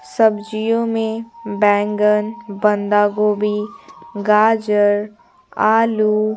सब्जियों में बैंगन बंदा गोभी गाजर आलू--